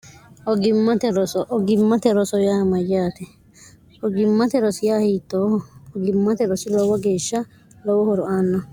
gimmte roogimmate roso yaa mayyaate ogimmate rosiya hiittooho ogimmate rosi lowo geeshsha lowo horo aanna